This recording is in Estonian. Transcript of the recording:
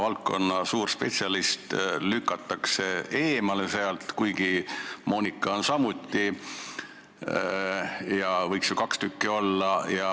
Valdkonna suur spetsialist lükati eemale, kuigi Monika on samuti spetsialist ja seal komisjonis võiks neid spetsialiste ju kaks tükki olla.